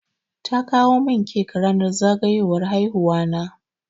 Ta kawo min cake ranar zagayowar haihuwa na.